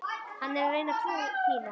Hann er að reyna trú þína.